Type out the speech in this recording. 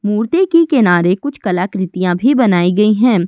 मूर्ति के किनारे कुछ कलाकृतियां भी बनाई गई हैं।